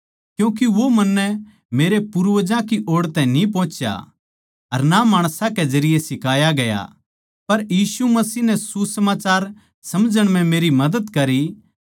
क्यूँके वो मन्नै मेरे पूर्वजां की ओड़ तै न्ही पोहुच्या अर ना माणसां के जरिये सिखाया गया पर यीशु मसीह नै सुसमाचार समझण म्ह मेरी मदद करी